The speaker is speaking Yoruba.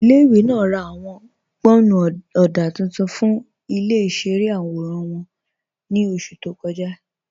Ilẹ̀-ìwé náà rá ạwọn gbọ́nnú ọdá tuntun fún ilẹ̀-ìṣẹ̀rẹ̀ awóran wọn ní oṣù tó kọ́jà.